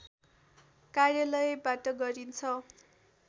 कार्यालयबाट गरिन्छ